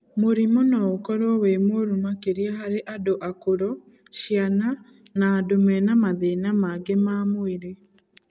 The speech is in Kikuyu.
Mũrimũ no ũkorwo wĩ mũru makĩria harĩ andũ akũrũ, ciana na andũ mena mathĩna mangĩ ma mwĩrĩ.